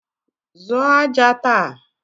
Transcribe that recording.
Zụọ aja taa!